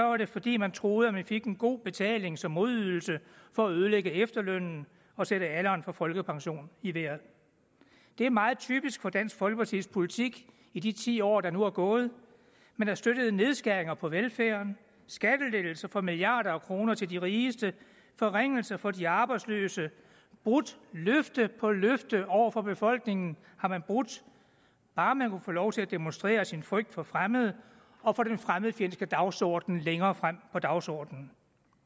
var det fordi man troede man fik en god betaling som modydelse for at ødelægge efterlønnen og sætte alderen for folkepension i vejret det er meget typisk for dansk folkepartis politik i de ti år der er nu er gået man har støttet nedskæringer på velfærden skattelettelser for milliarder af kroner til de rigeste forringelser for de arbejdsløse og brudt løfte på løfte over for befolkningen bare man kunne få lov til at demonstrere sin frygt for fremmede og få den fremmedfjendske dagsorden længere frem på dagsordenen